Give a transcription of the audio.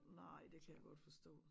Nej det kan jeg godt forstå